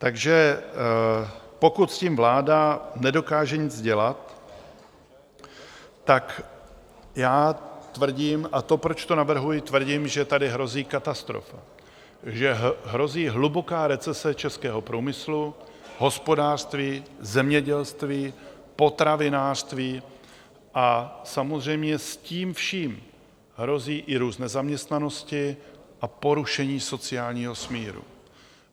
Takže pokud s tím vláda nedokáže nic dělat, tak já tvrdím, a to proč to navrhuji, tvrdím, že tady hrozí katastrofa, že hrozí hluboká recese českého průmyslu, hospodářství, zemědělství, potravinářství a samozřejmě s tím vším hrozí i růst nezaměstnanosti a porušení sociálního smíru.